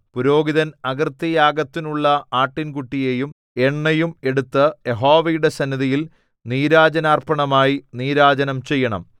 പുരോഹിതൻ അകൃത്യയാഗത്തിനുള്ള ആട്ടിൻകുട്ടിയെയും എണ്ണയും എടുത്ത് യഹോവയുടെ സന്നിധിയിൽ നീരാജനാർപ്പണമായി നീരാജനം ചെയ്യണം